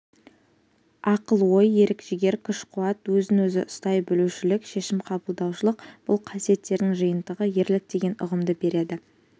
ақыл-ой ерік-жігер күш-қуат өзін-өзі ұстай білушілік шешім қабылдаушылық бұл қасиеттердің жиынтығы ерлік деген ұғымды береді